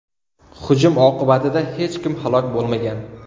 Hujum oqibatida hech kim halok bo‘lmagan.